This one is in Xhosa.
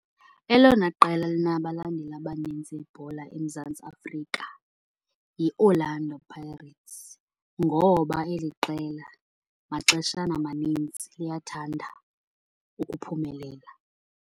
Elona qela linabalandeli abanintsi ibhola eMzantsi Afrika yiOrlando Pirates. Ngoba eli qela maxeshana amanintsi liyathanda ukuphumelela.